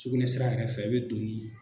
Sugunɛsira yɛrɛ fɛ i bɛ don ni